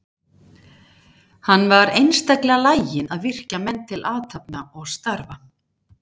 Hann var einstaklega laginn að virkja menn til athafna og starfa.